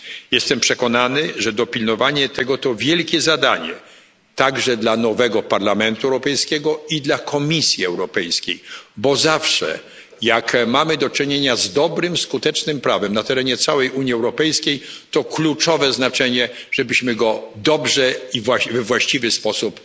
Jestem przekonany, że dopilnowanie tego to wielkie zadanie, także dla nowego Parlamentu Europejskiego i dla Komisji Europejskiej, bo zawsze jak mamy do czynienia z dobrym skutecznym prawem na terenie całej Unii Europejskiej, to kluczowe znaczenie ma to, żebyśmy je dobrze i we właściwy sposób